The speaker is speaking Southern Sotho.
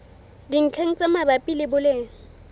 dintlheng tse mabapi le boleng